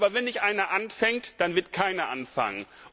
Aber wenn nicht einer anfängt, dann wird keiner anfangen.